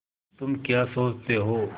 तुम क्या सोचते हो